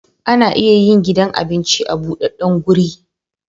Ana iya yin gidan abinci a budaddan guri